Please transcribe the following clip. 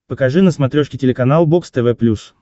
покажи на смотрешке телеканал бокс тв плюс